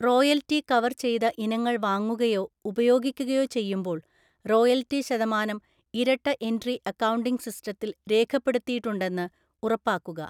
Royalty cover ചെയ്ത ഇനങ്ങൾ വാങ്ങുകയോ ഉപയോഗിക്കുകയോ ചെയ്യുമ്പോൾ, റോയൽറ്റി ശതമാനം ഇരട്ട എൻട്രി അക്കൗണ്ടിംഗ് സിസ്റ്റത്തിൽ രേഖപ്പെടുത്തിയിട്ടുണ്ടെന്ന് ഉറപ്പാക്കുക.